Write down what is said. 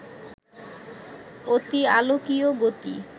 অতিআলোকীয় গতি